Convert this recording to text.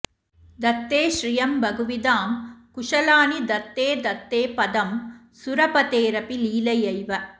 दत्ते श्रियं बहुविधां कुशलानि दत्ते दत्ते पदं सुरपतेरपि लीलयैव